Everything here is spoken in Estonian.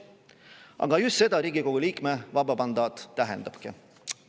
Aga just seda Riigikogu liikme vaba mandaat tähendabki.